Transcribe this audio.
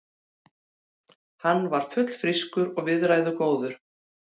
Hann var fullfrískur og viðræðugóður.